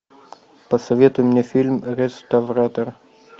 посоветуй мне фильм реставратор